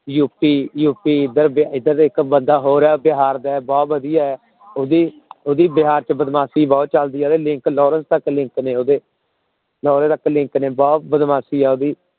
UP UP ਇੱਧਰ ਦਾ ਇੱਕ ਬੰਦਾ ਹੋਰ ਹੈ ਬਿਹਾਰ ਦਾ ਹੈ, ਬਹੁਤ ਵਧੀਆ ਹੈ ਉਹਦੀ ਉਹਦੀ ਬਿਹਾਰ ਚ ਬਦਮਾਸ਼ੀ ਬਹੁਤ ਚੱਲਦੀ ਹੈ, ਉਹਦੇ link ਲਾਰੇਂਸ ਤੱਕ link ਨੇ ਉਹਦੇ, ਲਾਰੇਂਸ ਤੱਕ link ਨੇ ਬਹੁਤ ਬਦਮਾਸ਼ੀ ਹੈ ਉਹਦੀ।